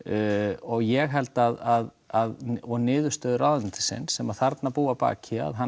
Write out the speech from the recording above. og ég held að niðurstöður ráðuneytisins sem þarna búa að baki að hann